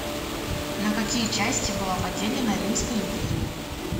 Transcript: на какие части была поделена римская империя